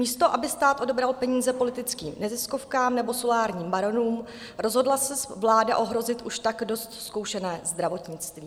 Místo aby stát odebral peníze politickým neziskovkám nebo solárním baronům, rozhodla se vláda ohrozit už tak dost zkoušené zdravotnictví.